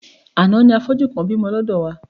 Àná ni afọ́jú kan bímọ lọ́dọ̀ wá.